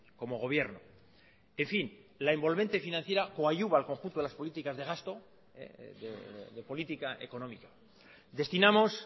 como gobierno en fin la envolvente financiera coadyuva al conjunto de las políticas de gasto de política económica destinamos